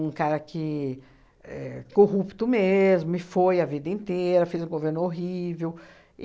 cara que éh... Corrupto mesmo, e foi a vida inteira, fez um governo horrível.